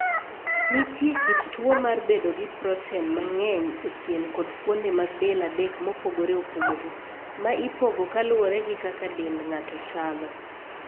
Nitie kit tuo mar bedo gi proten mang'eny e pien kod fuonde mag del adek mopogore opogore, ma ipogo kaluwore gi kaka dend ng'ato chalo.